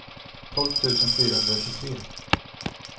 tolv tusen fyrahundratjugotre